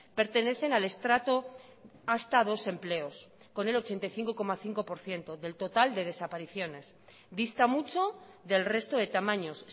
pertenecen al estrato hasta dos empleos con el ochenta y cinco coma cinco por ciento del total de desapariciones dista mucho del resto de tamaños